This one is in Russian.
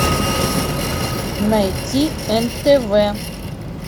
найти нтв